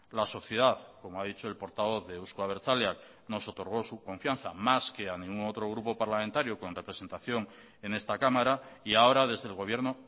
la sociedad como ha dicho el portavoz de euzko abertzaleak nos otorgó su confianza más que a ningún otro grupo parlamentario con representación en esta cámara y ahora desde el gobierno